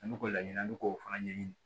An bɛ k'o laɲini an bɛ k'o fana ɲɛɲini